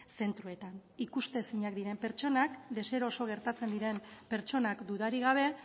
zentroetan ikusezinak diren pertsonak deseroso gertatzen diren pertsonak dudarik gabe